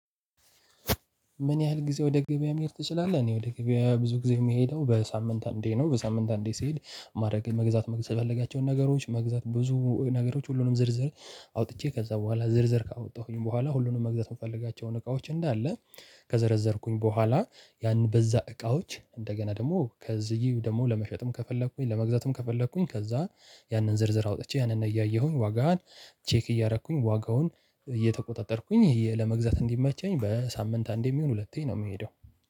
ምን ያህል ጊዜ ወደ ገበያ መሄድ ትችላለህ? እኔ ወደ ገበያ ብዙ ጊዜ የምሄደው በሳምንት አንዴ ነው። በሳምንት አንዴ ስሄድ ማድረግ የመግዛት መግዛት ያለባቸውን ነገሮች መግዛት ብዙ ነገሮች ሁሉንም ዝርዝር አውጥቼ ከዛ በኋላ ዝርዝር ካወጣሁኝ በኋላ ሁሉንም መግዛት የምፈልጋቸውን እቃዎች እንዳለ ከዘረዘርኩኝ በኋላ ያን በዛ እቃዎች እንደገና ደግሞ ከዚህ ደግሞ ለመሸጥም ከፈለኩኝ ለመግዛትም ከፈለኩኝ ከዛ ያንን ዝርዝር አውጥቼ ያንን እያየሁኝ ዋጋን ቼክ እያደረኩኝ ዋጋውን እየተቆጣጠርኩኝ ለመግዛት እንዲመቸኝ በሳምንት አንዴም ይሆን ሁለቴ ነው። የምሄደው